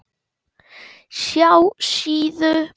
SJÁ SÍÐU.